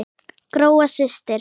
Gróa systir.